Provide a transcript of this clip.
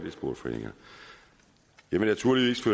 vil naturligvis